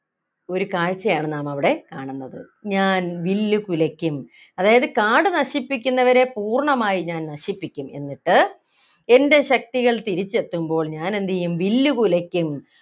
ഒരു കാഴ്ചയാണ് നാം അവിടെ കാണുന്നത് ഞാൻ വില്ലു കുലയ്ക്കും അതായത് കാട് നശിപ്പിക്കുന്നവരെ പൂർണമായി ഞാൻ നശിപ്പിക്കും എന്നിട്ട് എൻ്റെ ശക്തികൾ തിരിച്ചെത്തുമ്പോൾ ഞാൻ എന്തു ചെയ്യും വില്ല് കുലയ്ക്കും